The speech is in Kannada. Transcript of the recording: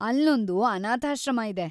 ಅಲ್ಲೊಂದು ಅನಾಥಾಶ್ರಮ ಇದೆ.